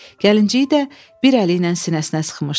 Gəlinciyi də bir əli ilə sinəsinə sıxmışdı.